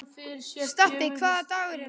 Stapi, hvaða dagur er í dag?